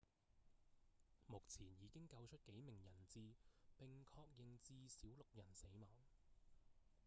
目前已經救出幾名人質並確認至少六人死亡